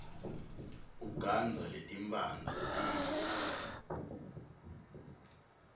ugandza letimphandze tibe